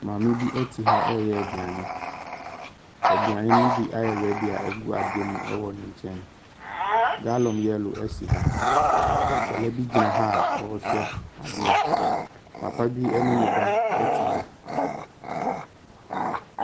Maame bi te ha reyɛ aduane. Aduane no bi ayɛ ready a ɛgu adeɛ mu wɔ ne nkyɛn. Gallon yellow si ha. Awadaa bi gyina ha a ɔrehwɛ adeɛ. Papabine ne ba te ha.